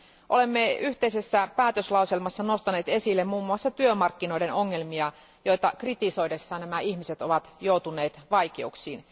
Olemme yhteisessä päätöslauselmassa nostaneet esille muun muassa työmarkkinoiden ongelmia, joita kritisoidessaan nämä ihmiset ovat joutuneet vaikeuksiin.